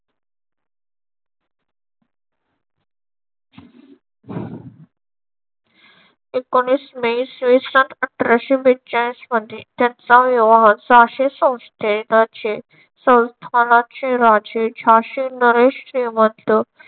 एकोणवीस मे इसवीसन अठराशे बेचाळीस मध्ये त्यांचा विवाह झाशी संस्थेचे संस्थानाचे राजे झाशी नरेश श्रीमंत